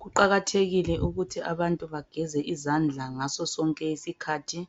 Kuqakathekile ukuthi abantu bageze izandla ngaso sonke iskhathi